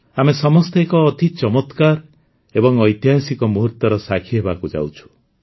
ଆମେ ସମସ୍ତେ ଏକ ଅତି ଚମତ୍କାର ଏବଂ ଐତିହାସିକ ମୁହୂର୍ତ୍ତର ସାକ୍ଷୀ ହେବାକୁ ଯାଉଛୁ